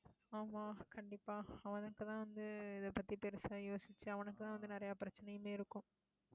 ஆமா, கண்டிப்பா அவனுக்குதான் வந்து, இதைப்பத்தி பெருசா யோசிச்சு அவனுக்குதான் வந்து, நிறைய பிரச்சனையுமே இருக்கும்